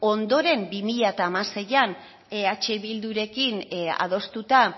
ondoren bi mila hamaseian eh bildurekin adostuta